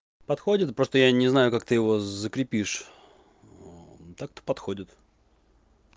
подходит просто я не знаю как ты его закрепишь так-то подходит